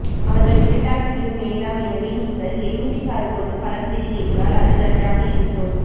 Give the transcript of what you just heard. அவர்கள் இருட்டாக்கிவிடும் வேண்டாம் எனவே நீங்கள் எலுமிச்சை சாறு கொண்டு பழம் தெளி என்றால் அது நன்றாக இருக்கும்